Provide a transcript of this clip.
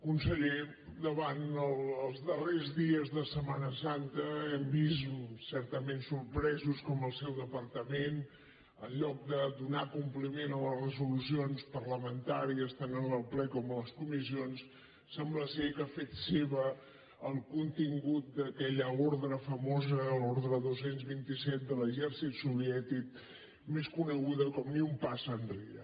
conseller els darrers dies de setmana santa hem vist certament sorpresos com el seu depar tament en lloc de donar compliment a les resolucions parlamentàries tant del ple com de les comissions sembla ser que ha fet seu el contingut d’aquella ordre famosa l’ordre dos cents i vint set de l’exèrcit soviètic més coneguda com ni un pas enrere